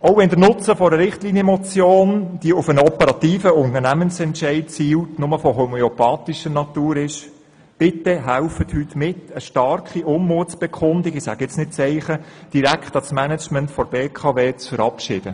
Auch wenn der Nutzen einer Richtlinienmotion, die auf einen operativen Unternehmensentscheid zielt, nur homöopathischer Natur ist, bitten wir Sie, heute eine starke Unmutsbekundung – ich sage jetzt nicht «Zeichen» – direkt an das Management der BKW zu senden.